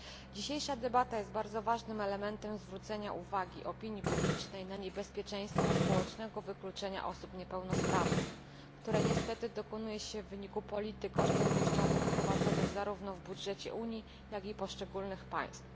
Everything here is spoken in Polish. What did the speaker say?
Dzisiejsza debata jest bardzo ważnym elementem zwrócenia uwagi opinii publicznej na niebezpieczeństwo społecznego wykluczenia osób niepełnosprawnych, które niestety dokonuje się w wyniku polityk oszczędnościowych wprowadzonych zarówno w budżecie Unii, jak i w budżetach poszczególnych państw.